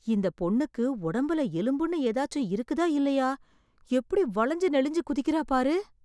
இந்தப் பொண்ணுக்கு ஒடம்புல எலும்புன்னு எதாச்சும் இருக்குதா இல்லையா...! எப்டி வளைஞ்சு நெளிஞ்சு குதிக்கறா பாரு.